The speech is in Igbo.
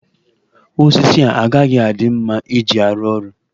Osisi a agaghị adị mma iji arụ ọrụ.